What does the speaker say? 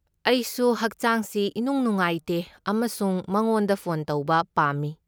ꯑꯩꯁꯨ ꯍꯛꯆꯥꯡꯁꯤ ꯏꯅꯨꯡ ꯅꯨꯡꯉꯥꯏꯇꯦ ꯑꯃꯁꯨꯡ ꯃꯉꯣꯟꯗ ꯐꯣꯟ ꯇꯧꯕ ꯄꯥꯝꯃꯤ꯫